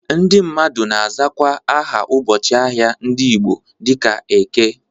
Ndị mmadụ na-azakwa aha ụbọchị ahịa ndị Igbo dịka Eke.